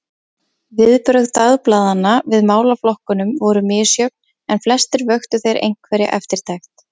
Viðbrögð dagblaðanna við málaflokkunum voru misjöfn, en flestir vöktu þeir einhverja eftirtekt.